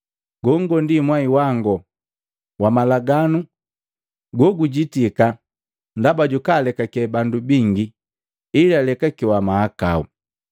Gongo mwai wango wa malagano gogujitika ndaba jakulekake bandu bingi ili alekakiwa mahakau.